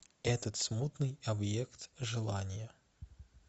этот смутный объект желания